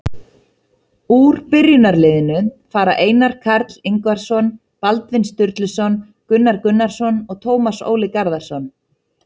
Úr byrjunarliðinu fara Einar Karl Ingvarsson, Baldvin Sturluson, Gunnar Gunnarsson og Tómas Óli Garðarsson.